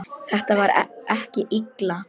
Þetta var ekki Lilla.